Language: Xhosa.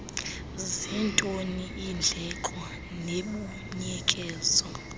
zintoni iindleko nembuyekezo